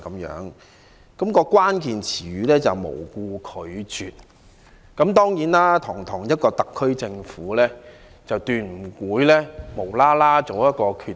議案的關鍵詞是"無故拒絕"，但堂堂特區政府絕不會毫無理由地做一個決定。